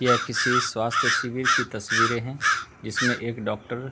यह किसी स्वास्थ्य शिविर की तस्वीरें हैं जिसमें एक डॉक्टर --